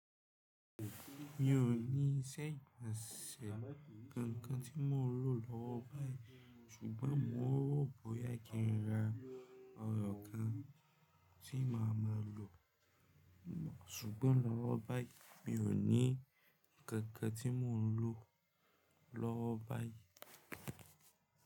Mi ò ní séǹsì kankan tí mò ń lò lọ́wọ́ báyìí ṣùgbọ́n mò ń rò bóyá kí n ra eyọ́ kan tí màá máa lò ṣùgbọ́n lọ́wọ́ báyìí mi ò ní ǹkankan tí mò ń lò lọ́wọ́ báyìí.